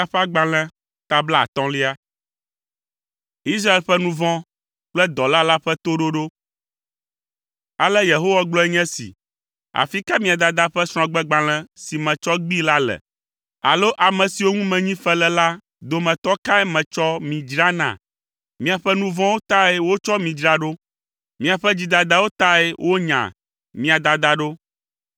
Ale Yehowa gblɔe nye esi, “Afi ka mia dada ƒe srɔ̃gbegbalẽ si metsɔ gbee la le? Alo ame siwo ŋu menyi fe le la dometɔ kae metsɔ mi dzra na? Miaƒe nu vɔ̃wo tae wotsɔ mi dzra ɖo. Miaƒe dzidadawo tae wonya mia dada ɖo.